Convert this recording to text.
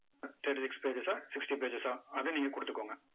thirty six pages ஆ sixty pages ஆ அதை நீங்க கொடுத்துக்கோங்க.